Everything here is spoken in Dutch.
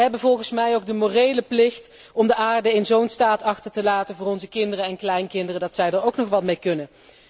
Wij hebben volgens mij ook de morele plicht om de aarde in zo'n staat achter te laten voor onze kinderen en kleinkinderen dat zij er ook nog wat mee kunnen.